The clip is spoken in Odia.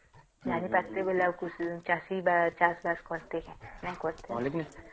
ଜାଣି ପାରିସେ ବୋଲି ଆଉ ଚାଷ ବାସ କର୍ତେ ନାଇଁ କରିତେ ନ